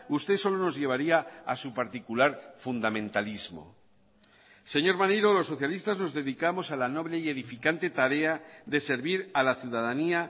usted solo nos llevaría a su particular fundamentalismo señor maneiro los socialistas nos dedicamos a la noble y edificante tarea de servir a la ciudadanía